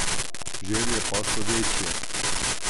Želje pa so večje.